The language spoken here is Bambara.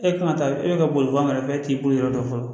E kan ka taa e bɛ ka boliban kɛ e t'i boli yɔrɔ dɔn fɔlɔ